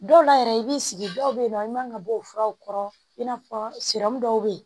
Dɔw la yɛrɛ i b'i sigi dɔw bɛ yen nɔ i man kan ka bɔ o furaw kɔrɔ i n'a fɔ dɔw bɛ yen